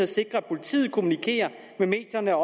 sikrer at politiet kommunikerer med medierne og